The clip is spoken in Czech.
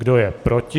Kdo je proti?